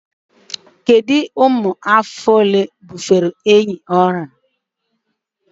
Kedu ụmụ ahụhụ ole bufere ehi ahụ ọrịa?